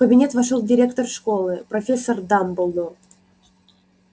в кабинет вошёл директор школы профессор дамблдор